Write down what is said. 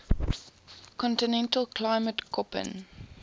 continental climate koppen